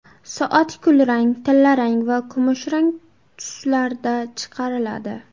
Soat kulrang, tillarang va kumushrang tuslarda chiqariladi.